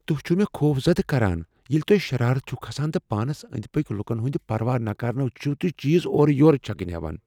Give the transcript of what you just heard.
تُہۍ چھو مےٚ خوفزدہ کران ییٚلہ تو٘ہہ شرات چھو کھسان تہٕ پانس أنٛدۍ پٔکۍ لکن ہُند پروا کرنہٕ ورٲے چِھو چیز اورٕ یورٕ چھکٕنۍ ہیوان۔